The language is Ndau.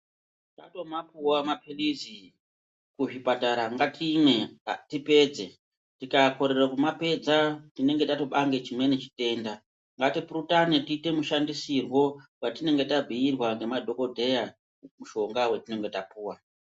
Tatomapuwa maphirizi kuzvipatara ngatimwe tipedze, tikakorere kumapedza tinonga tatopange chimweni chitenda. Ngatipurutane tiite mushandisirwo watinenge tabhuirwa ngemadhogodheya mushonga watinenge tapuwa.